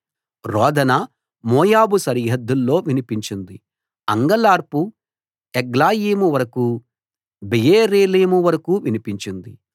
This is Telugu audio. రోదన మోయాబు సరిహద్దుల్లో వినిపించింది అంగలార్పు ఎగ్లయీము వరకూ బెయేరేలీము వరకూ వినిపించింది